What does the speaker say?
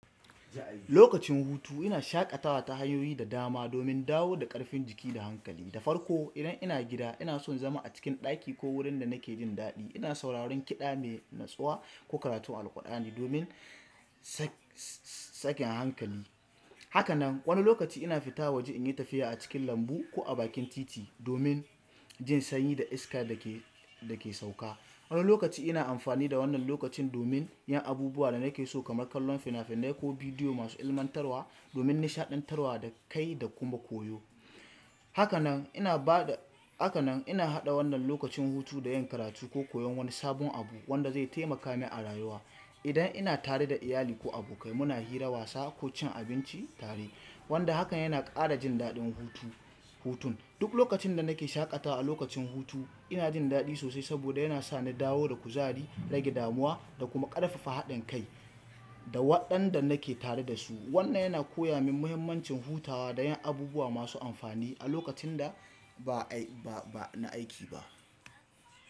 Lokacin hutu ina shaƙatawa ta hanyoyi da dama domin dawo da ƙarfin jiki da hankali da farko. Idan ina gida, ina son zama a cikin ɗaki ko wurin da nake jin daɗi. Ina sauraron kiɗa mai natsuwa ko karatun Alqur'ani domin sakin hankali. Haka nan wani lokaci ina fita waje in yi tafiya a cikin lambu ko a bakin titi domin jin sanyi da iska da ke sauka. Wani lokaci ina amfani da wannan lokacin domin yin abubuwa da nake so kamar kallon fina-finai ko bidiyo masu ilmantarwa domin nishaɗantarwa da kai da kuma koyo. Haka nan ina haɗa wannan lokacin hutu da yin karatu ko koyon wani sabon abu wanda zai taimaka min a rayuwa. Idan ina tare da iyali ko abokai muna hira, wasa ko cin abinci tare wanda hakan yana ƙara jin daɗin hutun. Duk lokacin da nake shaƙatawa a lokacin hutu ina jin daɗi sosai saboda yana sa ni dawo da kuzari, rage damuwa da kuma ƙarfafa haɗin kai da waɗanda nake tare da su. Wannan yana koya min muhimmancin hutawa da yin abubuwa masu amfani a lokacin da ba na aiki ba.